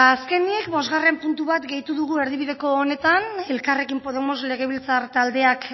azkenik bosgarren puntu bat gehitu dugu erdibideko honetan elkarrekin podemos legebiltzar taldeak